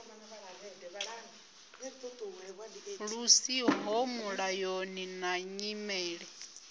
lu siho mulayoni na nyimele